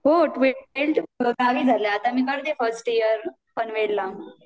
हो ट्वेल्थ पर्यंत गावीच झालंय आत्ता मी करतेय फर्स्ट इअर पनवेल ला